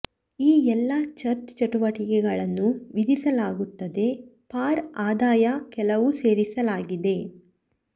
D ಎಲ್ಲಾ church ಚಟುವಟಿಕೆಗಳನ್ನು ವಿಧಿಸಲಾಗುತ್ತದೆ ಫಾರ್ ಆದಾಯ ಕೆಲವು ಸೇರಿಸಲಾಗಿದೆ